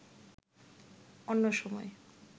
অন্য সময়